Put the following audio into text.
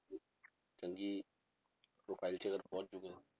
ਚੰਗੀ profile 'ਚ ਅਗਰ ਪਹੁੰਚ ਜਾਊਗਾ,